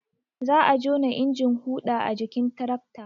Za a jona injin huɗa a jikin tirakta